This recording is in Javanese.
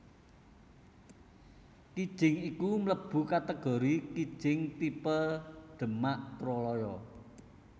Kijing iku mlebu kategori kijing tipe Demak Troloyo